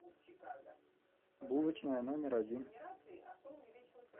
булочная номер один